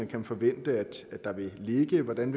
kan forvente der vil ligge hvordan